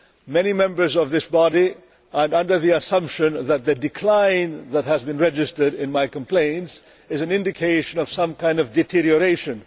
Many members of this body are under the assumption that the decline that has been registered in my complaints is an indication of some kind of deterioration.